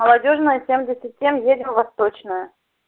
молодёжная семьдесят семь едем восточная